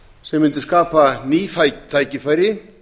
sem mundi skapa ný tækifæri